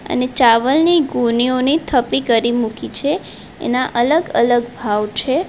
અને ચાવલની ગોનીઓની થપ્પી કરી મૂકી છે એના અલગ અલગ ભાવ છે.